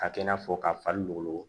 Ka kɛ i n'a fɔ ka fari golo